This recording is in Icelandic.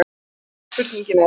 Síðari spurningin er